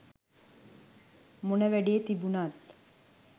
මොන වැඩේ තිබුනත්